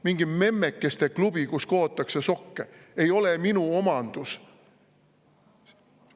Mingi memmekeste klubi, kus kootakse sokke, ei ole minu omandus.